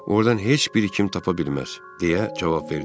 Ordan heç bir kim tapa bilməz, deyə cavab verdim.